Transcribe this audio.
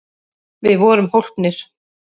Við vorum hólpnir!